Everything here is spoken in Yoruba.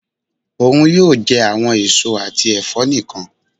Oun yoo jẹ awọn eso ati ẹfọ nikan.